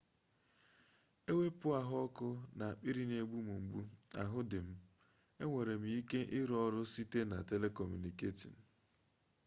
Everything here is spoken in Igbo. ewepu ahuoku na akpiri n'egbu m mgbu ahu di m enwere m ike iru oru site na telecommuting